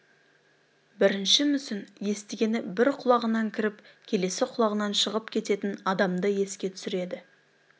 бірінші мүсін естігені бір құлағынан кіріп келесі құлағынан шығып кететін адамды еске түсіреді